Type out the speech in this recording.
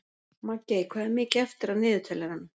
Maggey, hvað er mikið eftir af niðurteljaranum?